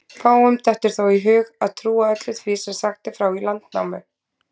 Fáum dettur þó í hug að trúa öllu því sem sagt er frá í Landnámu.